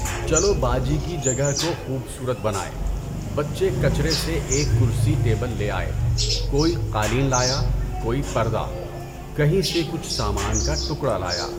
چلو باجی کی جگہ کو خوبصورت بنائیں۔ بچے کچرے سے ایک کرسی ٹیبل لے آئے۔ کوئی قالین لایا، کوئی پردہ۔ کہیں سے کچھ سامان کا ٹکڑا لایا۔